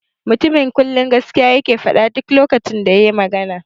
The man always say the truth whenever he speaks.